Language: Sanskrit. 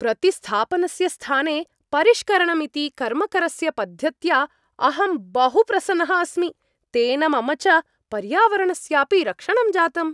प्रतिस्थापनस्य स्थाने परिष्करणमिति कर्मकरस्य पद्धत्या अहं बहु प्रसन्नः अस्मि। तेन मम च पर्यावरणस्यापि रक्षणं जातम्।